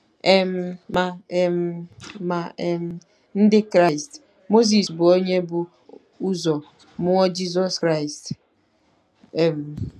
um Ma um Ma um Ndị Kraịst, Mozis bụ onye bu ụzọ mụọ Jizọs Kraịst um.